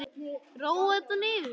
Róa þetta niður!